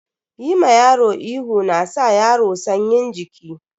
Yi ma yaro ihu na saka yaro sanyin jiki.